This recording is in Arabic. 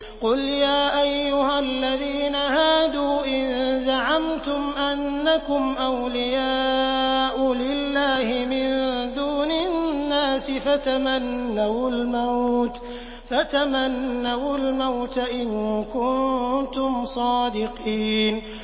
قُلْ يَا أَيُّهَا الَّذِينَ هَادُوا إِن زَعَمْتُمْ أَنَّكُمْ أَوْلِيَاءُ لِلَّهِ مِن دُونِ النَّاسِ فَتَمَنَّوُا الْمَوْتَ إِن كُنتُمْ صَادِقِينَ